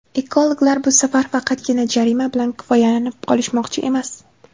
Ekologlar bu safar faqatgina jarima bilan kifoyalanib qolishmoqchi emas.